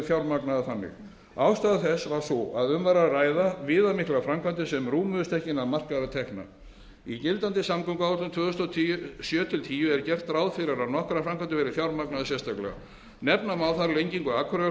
fjármagnaðar þannig ástæða þess var sú að um var að ræða viðamiklar framkvæmdir sem rúmuðust ekki innan markaðra tekna í gildandi samgönguáætlun tvö þúsund og sjö til tíu er gert ráð fyrir að nokkrar framkvæmdir verði fjármagnaðar sérstaklega nefna má lengingu akureyrarflugvallar byggingu